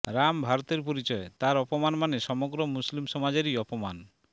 রাম ভারতের পরিচয় তাঁর অপমান মানে সমগ্র মুসলিম সমাজেরই অপমান